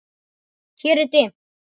Hér er dimmt.